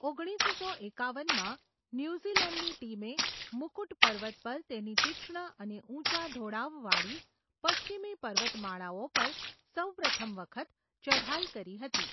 ઓગણીસસો એકાવનમાં ન્યુઝીલેન્ડની ટીમે મુકુટ પર્વત પર તેની તીક્ષ્ણ અને ઊંચા ઢોળાવવાળી પશ્ચિમી પર્વતમાળાઓ પર સૌપ્રથમ વખત ચઢાઈ કરી હતી.